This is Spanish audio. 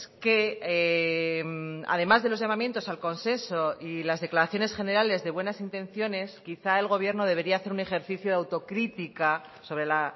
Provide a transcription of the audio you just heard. que además de los llamamientos al consenso y las declaraciones generales de buenas intenciones quizá el gobierno debería hacer un ejercicio de autocrítica sobre la